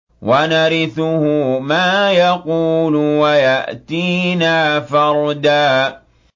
وَنَرِثُهُ مَا يَقُولُ وَيَأْتِينَا فَرْدًا